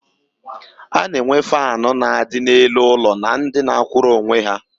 A na-enwe faanụ ndị na-adị n'elu ụlọ na ndị na-akwụrụ onwe ha.